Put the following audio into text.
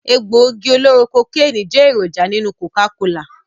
Egbògi oloro kokeni jẹ́ èròjà nínú Coca-cola